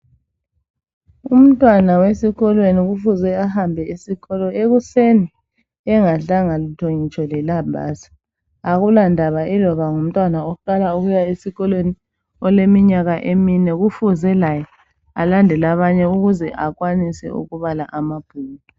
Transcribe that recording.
Umntwana wesikolweni kufuze ahambe esikolo ekuseni, engadlanga lutho ngitsho lelambazi. Akulandaba iloba ngumntwana oqala ukuya esikolweni, oleminyaka emine kufuze laye ,alandele abanye ukuze laye ankwanise ukubhala amabhuku.